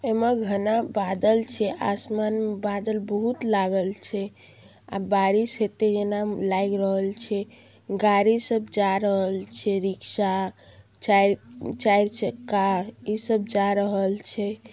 M घना बादल छै आसमान मे बादल बोहत लागल छै बारिश हेते जना लाऐग रहएल छै गाड़ी सब जा रहल छै रिक्सा चायेर चायेर चक्का इ सब जा रहल छै।